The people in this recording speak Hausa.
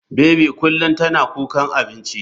Baby kullum tana kukan abinci.